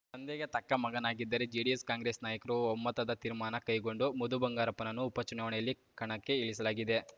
ತಂದೆಗೆ ತಕ್ಕ ಮಗನಾಗಿದ್ದಾರೆ ಜೆಡಿಎಸ್‌ಕಾಂಗ್ರೆಸ್‌ ನಾಯಕರು ಒಮ್ಮತದ ತೀರ್ಮಾನ ಕೈಗೊಂಡು ಮಧುಬಂಗಾರಪ್ಪರನ್ನು ಉಪಚುನಾವಣೆಯಲ್ಲಿ ಕಣಕ್ಕೆ ಇಳಿಸಲಾಗಿದೆ